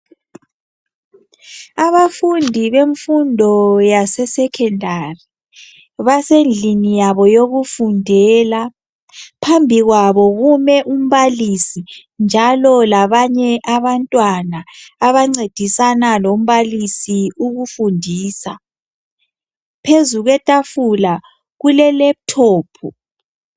Abafundi bemfundo yase secondary basendlini yabo yokufundela. Phambi kwabo kume umbalisi njalo labanye abantwana abacedisana lombalisi ukufundisa. Phezu kwetafula kule laptop.